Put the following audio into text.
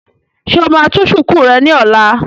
Ṣé o máa tú shùkú rẹ ní ọ̀la?